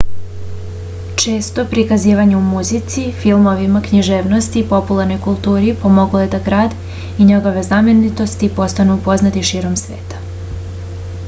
često prikazivanje u muzici filmovima književnosti i popularnoj kulturi pomoglo je da grad i njegove znamenitosti postanu poznati širom sveta